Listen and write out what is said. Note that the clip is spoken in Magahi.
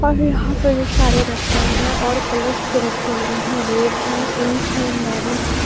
और यहाँ पे जो साड़ी रखा हुआ है और कलर्स के रखे हुए है रेड है पिंक है मरून है।